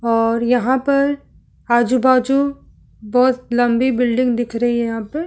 और यहाँ पर आजू - बाजू बहुत लम्बी बिल्डिंग दिख रही है यहाँ पे--